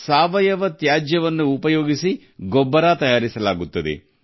ಸಾವಯವ ತ್ಯಾಜ್ಯವನ್ನು ಗೊಬ್ಬರವಾಗಿ ಮಾಡಲಾಗುತ್ತದೆ